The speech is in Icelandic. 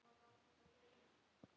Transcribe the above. Ég vissi þetta um leið.